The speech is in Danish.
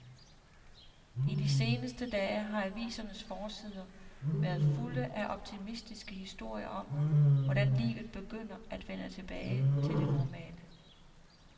I de seneste dage har avisernes forsider været fulde af optimistiske historier om, hvordan livet begynder at vende tilbage til det normale.